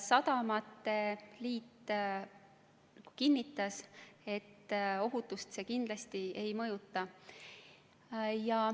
Sadamate liit kinnitas, et ohutust see kindlasti ei mõjuta.